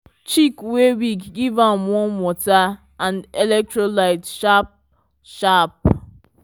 chick wey wig give a warm water and electrolyte sharp sharp